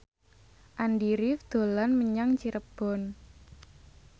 Andy rif dolan menyang Cirebon